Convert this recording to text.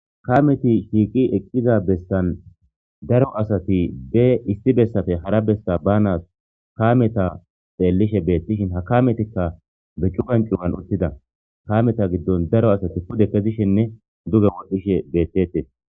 kameti shiiqi eqqiza bestan daro asati be isti bessafe hara besta banas kameta xeellishe beettishin ha kametikka be cu ganqiwan uttida kameta giddon daro asati pude kezishenne duge wodhdhishe beettete